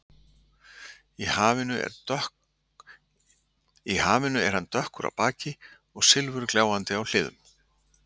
Í hafinu er hann dökkur á baki og silfurgljáandi á hliðum.